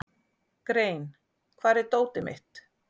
Grein, hvar er dótið mitt?